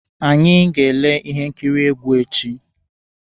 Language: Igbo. Anyị ga-ele ihe nkiri egwu echi.